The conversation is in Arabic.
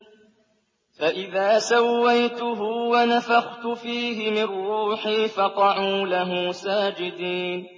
فَإِذَا سَوَّيْتُهُ وَنَفَخْتُ فِيهِ مِن رُّوحِي فَقَعُوا لَهُ سَاجِدِينَ